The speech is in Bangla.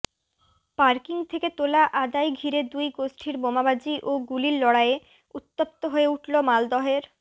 পার্কিং থেকে তোলা আদায় ঘিরে দুই গোষ্ঠীর বোমাবাজি ও গুলির লড়াইয়ে উত্তপ্ত হয়ে উঠল মালদহের